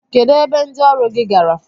Kedụ ebe ndị ọrụ gị gara?